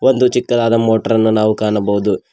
ಒಂದು ಚಿಕ್ಕದಾದ ಮೋಟರ್ ಅನ್ನು ನಾವು ಕಾಣಬಹುದು.